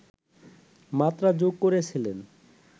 মাত্রা যোগ করেছিলেন